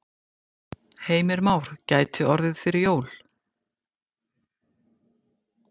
Heimir Már: Gæti orðið fyrir jól?